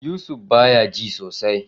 Yusuf baya ji sosai.